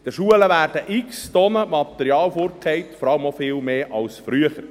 An den Schulen werden x Tonnen Material weggeworfen, vor allem auch viel mehr als früher.